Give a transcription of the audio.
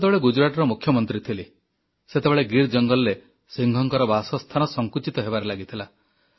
ମୁଁ ସେତେବେଳେ ଗୁଜରାଟର ମୁଖ୍ୟମନ୍ତ୍ରୀ ଥିଲି ସେତେବେଳେ ଗୀର ଜଙ୍ଗଲରେ ସିଂହଙ୍କର ବାସସ୍ଥାନ ସଂକୁଚିତ ହେବାରେ ଲାଗିଥିଲା